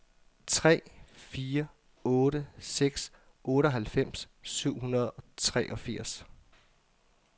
tre fire otte seks otteoghalvfems syv hundrede og treogfirs